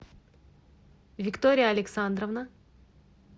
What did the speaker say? виктория александровна